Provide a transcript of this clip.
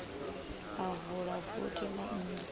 a vula vothi ḽa nnḓu